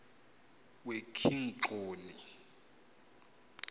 wekigxoni